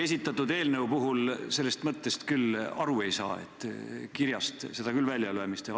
Esitatud eelnõu puhul sellest mõttest küll aru ei saa, kirjast teie vastust küll välja ei loe.